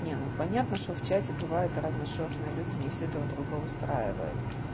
не ну понятно что в чате бывают разношёрстные люди не все друг друга устраивают